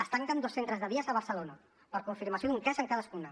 es tanquen dos centres de dia a barcelona per confirmació d’un cas en cadascuna